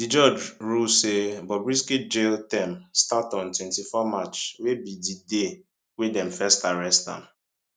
di judge rule say bobrisky jail term start on 24 march wey be di day wey dem first arrest am